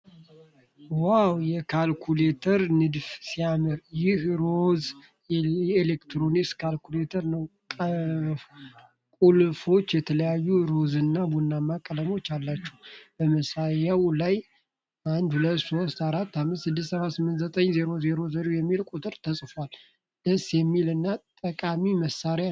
ዋው! የካልኩሌተር ንድፍ ሲያምር! ይህ ሮዝ ኤሌክትሮኒክስ ካልኩሌተር ነው። ቁልፎቹ የተለያዩ የሮዝና ቡናማ ቀለማት አላቸው። በማሳያው ላይ '123456789000' የሚል ቁጥር ተጽፏል። ደስ የሚል እና ጠቃሚ መሣሪያ ነው።